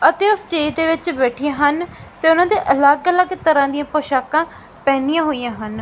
ਅਤੇ ਉਹ ਸਟੇਜ ਦੇ ਵਿਚ ਬੈਠੀਆਂ ਹਨ ਤੇ ਉਹਨਾਂ ਦੇ ਅਲੱਗ ਅਲੱਗ ਤਰ੍ਹਾਂ ਦੀਆਂ ਪੋਸ਼ਾਕਾ ਪਹਿਣੀਆਂ ਹੋਇਆਂ ਹਨ।